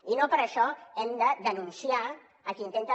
i no per això hem denunciar a qui intenta